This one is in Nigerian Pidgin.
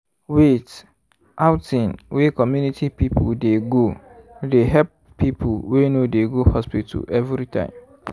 wait- outing wey community people dey go they help people wey no dey go hospital everytime.